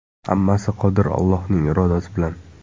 Hammasi Qodir Allohning irodasi bilan!